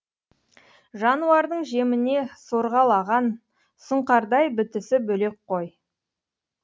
жануардың жеміне сорғалаған сұңқардай бітісі бөлек қой